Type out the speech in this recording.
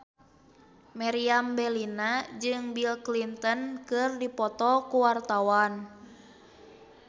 Meriam Bellina jeung Bill Clinton keur dipoto ku wartawan